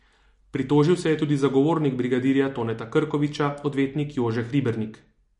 Pritožil se je tudi zagovornik brigadirja Toneta Krkoviča, odvetnik Jože Hribernik.